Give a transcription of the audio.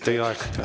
Teie aeg!